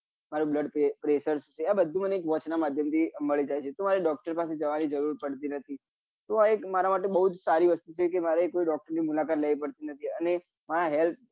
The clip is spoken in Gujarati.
મારું blood pressure શું છે આ બધું મને એક watch નાં માધ્યમ થી મળી જાય છે તો મારે doctor પાસે જવા ની જરૂર પડતી નથી તો આ એક મારા માટે બઉ જ સારી વસ્તુ છે કે મારે કોઈ doctor ની મુલાકાત લેવી પડતી નથી અને મરું health